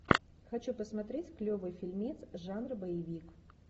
хочу посмотреть клевый фильмец жанра боевик